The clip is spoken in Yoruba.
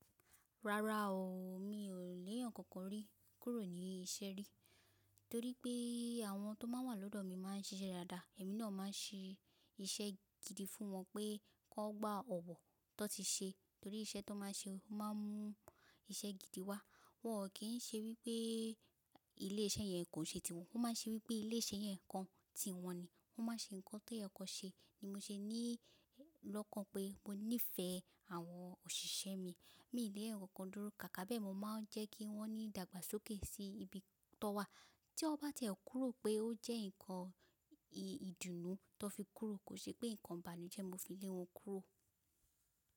Rárá o, mi ò lé ẹ̀ẹ̀yan kan kan rí kúrò ní iṣẹ́ rí torí pé àwọn tó máà ń wà lọ́dọ̀ mi máà ń ṣisẹ́ dáadáa. Ẹ̀mí náà máa ń ṣe iṣẹ́ gidi fún wọn pé kí wọ́n gba ọ̀wọ̀ tón ti ṣe torí iṣẹ́ tó máà ń ṣe, ó máa ń mú iṣẹ́ gidi wá. Wọn ò kí ń ṣe wípé ilé iṣẹ́ yẹn kò ṣe ti wọn, wọ́n máà ń ṣe wípé ilé iṣẹ́ yẹn nǹkan ti wọn ni wọ́n máa ń ṣe ǹkan tó yẹ kó ṣe ni mo ṣe ní lọ́kàn pé mo nífẹ̀ẹ́ àwọn òṣìṣẹ́ mi ní ilé ẹ̀ẹ̀yan kan kan dúró ká kábẹ́ẹ̀mọ máa ń jẹ́ kí wọ́n ní ìdàgbàsókè sí ibi tó wà. Tí wọ́n bá tiẹ̀ kúrò pé ó jẹ́ ǹkan ìdùnnú tó fi kúrò kò ṣe pé ǹkan ìbànújẹ́ mo fi lé wọn kúrò.